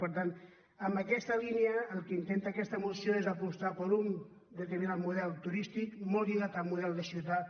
per tant en aquesta línia el que intenta aquesta moció és apostar per un determinat model turístic molt lligat al model de ciutat